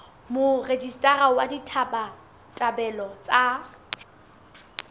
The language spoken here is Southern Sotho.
ya morejistara wa ditabatabelo tsa